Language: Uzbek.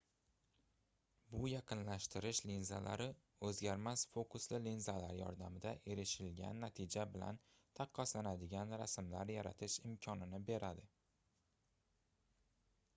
bu yaqinlashtirish linzalari oʻzgarmas fokusli linzalar yordamida erishilgan natija bilan taqqoslanadigan rasmlar yaratish imkonini beradi